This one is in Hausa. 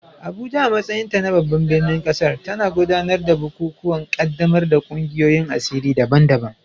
Abuja, a matsayinta na babban birnin ƙasar, tana gudanar da bukukuwan ƙaddamar da ƙungiyoyin asiri daban-daban